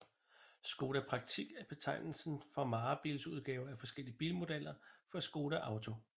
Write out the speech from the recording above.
Škoda Praktik er betegnelsen for varebilsudgaver af forskellige bilmodeller fra Škoda Auto